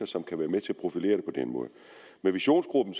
som kan være med til at profilere det på den måde med visionsgruppen